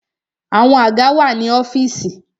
Àwọn àga wà ní ọ́fìsì.